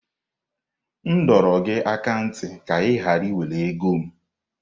M dọrọ gị aka ná ntị ka ị ghara iwere ego m!